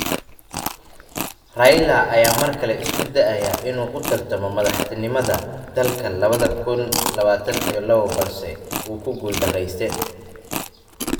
Raila ayaa mar kale isku dayay in uu u tartamo madaxtinimada dalka lawada kuun lawatan iyo lawo balse wuu ku guul daraystay.